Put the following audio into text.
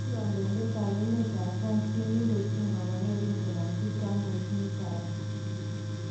Kikondoidet ab emet ab France nekidochi kokake kinkonomchi Francois Mitterand.